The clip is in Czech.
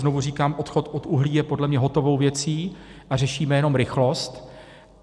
Znovu říkám, odchod od uhlí je podle mě hotovou věcí a řešíme jenom rychlost.